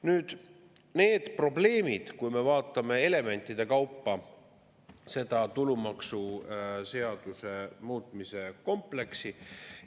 Nüüd need probleemid, kui me vaatame elementide kaupa seda tulumaksuseaduse muutmise kompleksi.